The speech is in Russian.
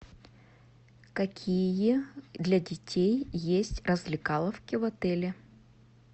какие для детей есть развлекаловки в отеле